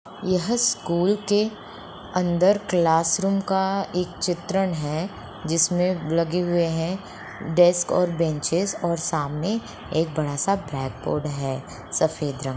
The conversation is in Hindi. यह स्कुल के अन्दर क्लास रुम का एक चित्रण है जिसमें लगे हुए है डेस्क और बेन्चिस और सामने बड़ा सा ब्लेक बोर्ड है सफ़ेद रंग --